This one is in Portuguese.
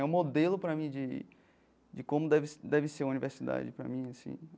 É um modelo para mim de de como deve deve ser uma universidade para mim assim.